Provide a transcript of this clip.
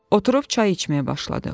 Oturub çay içməyə başladıq.